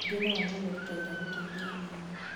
angĩ nao nomerutagĩra gũteithia athĩni